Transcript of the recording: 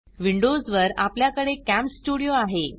Windows वर आपल्याकडे CamStudio आहे